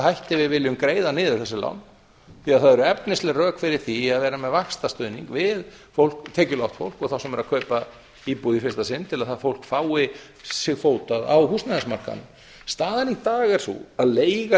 hætti við viljum greiða niður þessi lán því það eru efnisleg rök fyrir því að vera með vaxtastuðning við tekjulágt fólk og þá sem eru að kaupa íbúð í fyrsta sinn ætla að það fólk fái sig fótað á húsnæðismarkaðnum staðan í dag er sú að leiga